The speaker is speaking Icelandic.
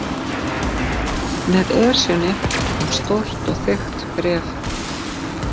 Með Esjunni kom stórt og þykkt bréf.